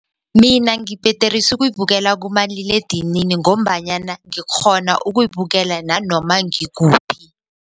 Mina ngibhederisa ukuyibekela kumaliledinini ngombanyana ngikghona ukuyibekela nanoma ngikuphi.